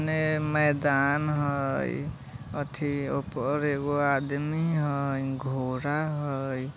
उने मैदान हई अथी ओय पर एगो आदमी हई घोड़ा हई।